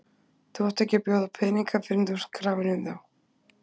Þú átt ekki að bjóða peninga fyrr en þú ert krafinn um þá.